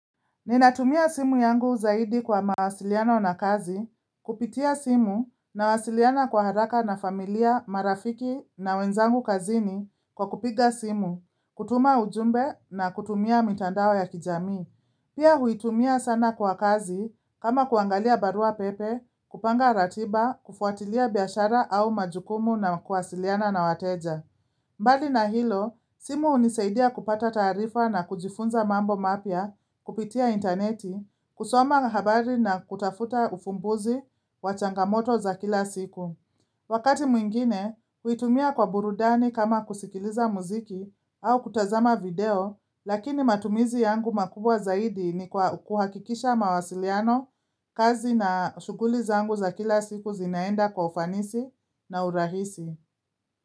Ninatumia simu yangu zaidi kwa mawasiliano na kazi, kupitia simu nawasiliana kwa haraka na familia marafiki na wenzangu kazini kwa kupiga simu, kutuma ujumbe na kutumia mitandao ya kijamii. Pia huitumia sana kwa kazi kama kuangalia barua pepe, kupanga ratiba, kufuatilia biashara au majukumu na kuwasiliana na wateja. Mbali na hilo, simu hunisaidia kupata taarifa na kujifunza mambo mapya kupitia interneti, kusoma habari na kutafuta ufumbuzi wa changamoto za kila siku. Wakati mwingine, huitumia kwa burudani kama kusikiliza muziki au kutazama video, lakini matumizi yangu makubwa zaidi ni kuhakikisha mawasiliano, kazi na shughuli zangu za kila siku zinaenda kwa ufanisi na urahisi.